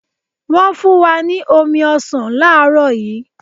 Wọn fun wa ni omi ọsan laarọ yi